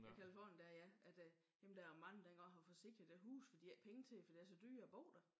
Ja Californien dér ja at øh jamen der er mange der ikke engang har forsikring i deres huse for de har ikke penge til det fordi det er så dyrt at bo der